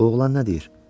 Bu oğlan nə deyir?